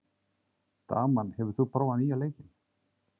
Dagmann, hefur þú prófað nýja leikinn?